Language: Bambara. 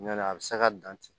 Ɲ'ɔ la a bɛ se ka dan ten